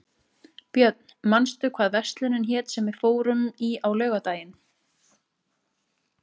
Björn, manstu hvað verslunin hét sem við fórum í á laugardaginn?